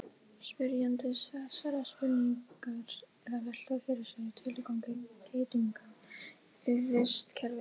spyrjandi þessarar spurningar er að velta fyrir sér tilgangi geitunga í vistkerfinu